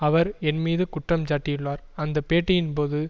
அவர் என் மீது குற்றஞ்சாட்டியுள்ளார் அந்த பேட்டியின் போது